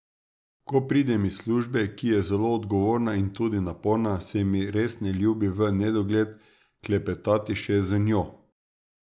Ko pridem iz službe, ki je zelo odgovorna in tudi naporna, se mi res ne ljubi v nedogled klepetati še z njo.